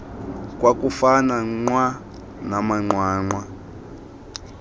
kwakufana nqwa namanqwanqwa